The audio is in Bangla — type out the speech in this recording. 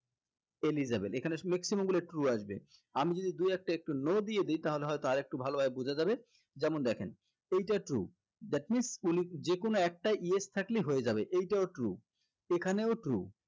eligible এখানে maximum গুলো true আসবে আমি যদি দুই একটা no দিয়ে দেই তাহলে হয়তো আরেকটু ভালোভাবে বুঝা যাবে যেমন দেখেন এইটা true that means যেকোনো একটাই yes থাকলেই হয়ে যাবে এইটাও true এখানেও true